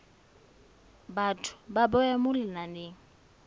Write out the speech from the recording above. batho ba bewa mo lenaneng